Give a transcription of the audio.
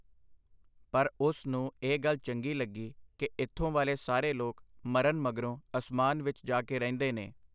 ਪਰ ਉਸ ਨੂੰ ਇਹ ਗੱਲ ਚੰਗੀ ਲੱਗੀ ਕਿ ਇੱਥੋਂ ਵਾਲੇ ਸਾਰੇ ਲੋਕ ਮਰਨ ਮਗਰੋਂ ਅਸਮਾਨ ਵਿੱਚ ਜਾ ਕੇ ਰਹਿੰਦੇ ਨੇ.